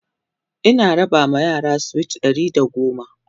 Ina raba ma yara sweet Ɗari da goma